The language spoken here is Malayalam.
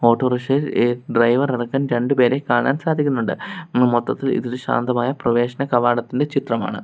ഓട്ടോറിക്ഷയിൽ ഏ ഡ്രൈവർ അടക്കം രണ്ടുപേരെ കാണാൻ സാധിക്കുന്നുണ്ട് മൊത്തത്തിൽ ഇതൊരു ശാന്തമായ പ്രവേശന കവാടത്തിന്റെ ചിത്രമാണ്.